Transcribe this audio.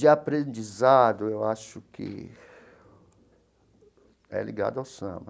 De aprendizado, eu acho que é ligado ao samba.